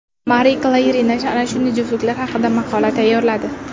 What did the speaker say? Marie Claire nashri ana shunday juftliklar haqida maqola tayyorladi .